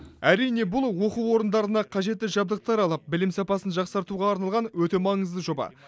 әрине бұл оқу орындарына қажетті жабдықтар алып білім сапасын жақсартуға арналған өте маңызды жоба